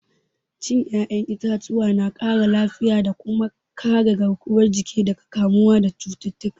Cin 'ya'yan itatuwa na ƙara lafiya da kuma kare garkuwar jiki daga kamuwa daga cututtuka.